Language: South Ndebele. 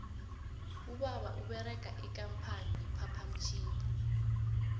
ubaba uberega ikampani ye phaphamtjhini